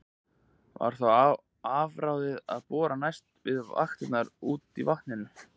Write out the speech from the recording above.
Var þá afráðið að bora næst við vakirnar úti í vatninu.